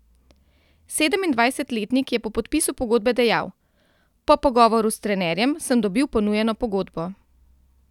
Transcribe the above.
Sedemindvajsetletnik je po podpisu pogodbe dejal: 'Po pogovoru s trenerjem sem dobil ponujeno pogodbo.